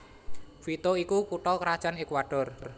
Quito iku kutha krajan Ekuador